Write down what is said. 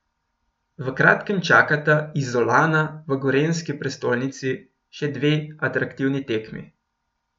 V kratkem čakata Izolana v gorenjski prestolnici še dve atraktivni tekmi.